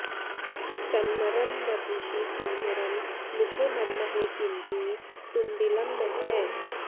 तन्नरं वपुषि कुञ्जरं मुखे मन्महे किमपि तुन्दिलं महः